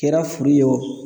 Kɛra furu ye o